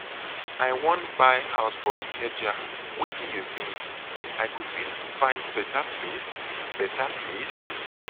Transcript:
i wan buy house for ikeja wetin you think? i go fit find beta place? beta place?